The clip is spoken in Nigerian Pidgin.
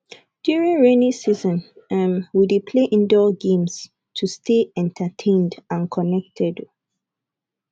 during rainy season um we dey play indoor games to stay entertained and connected um